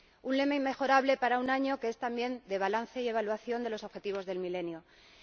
Un lema inmejorable para un año que es también de balance y evaluación de los Objetivos de Desarrollo del Milenio.